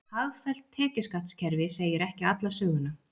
Hagfellt tekjuskattskerfi segi ekki alla söguna